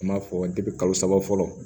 N b'a fɔ kalo saba fɔlɔ